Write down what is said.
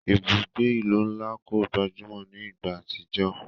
Ibugbe ilu nla ko gbajumo ni igba atijọ.